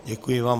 Děkuji vám.